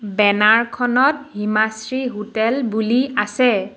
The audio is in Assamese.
বেনাৰ খনত হিমাশ্ৰী হোটেল বুলি আছে।